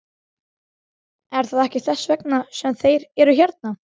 Er það ekki þess vegna sem þeir eru hérna?